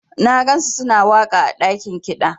Na gansu suna waka ã dakin kida.